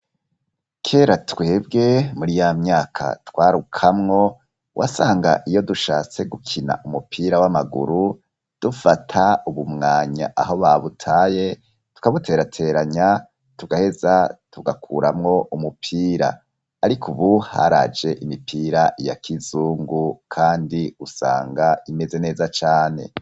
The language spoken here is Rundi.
kera twebwe muri yamyaka twarukamwo wasanga iyo dushatse gukina umupira w'amaguru dufata ubumwanya aho babutaye tukabuterateranya tugaheza tugakuramwo umupira, ariko ubu haraje imipira ya k'izungu kandi usanga imeze neza cane.